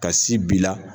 Ka si b'i la